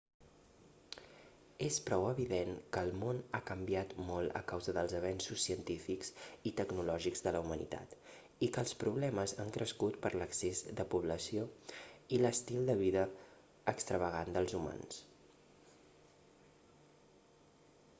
és prou evident que el món ha canviat molt a causa dels avenços científics i tecnològics de la humanitat i que els problemes han crescut per l'excés de població i l'estil de vida extravagant dels humans